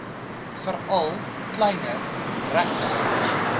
veral kleiner regtehouers